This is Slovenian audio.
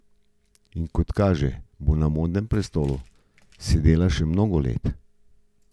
In kot kaže, bo na modnem prestolu sedela še mnogo let.